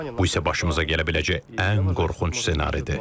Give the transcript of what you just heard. Bu isə başımıza gələ biləcək ən qorxunc ssenaridir.